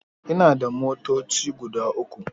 Ina da motoci guda uku.